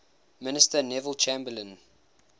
minister neville chamberlain